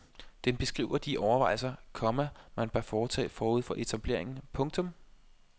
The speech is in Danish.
Den beskriver de overvejelser, komma man bør foretage forud for etableringen. punktum